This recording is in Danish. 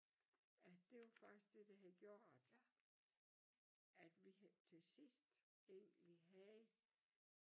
At det var faktisk det der havde gjort at vi til sidst egentlig havde